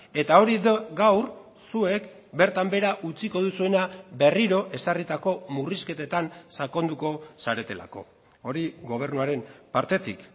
eta hori gaur zuek bertan behera utziko duzuena berriro ezarritako murrizketetan sakonduko zaretelako hori gobernuaren partetik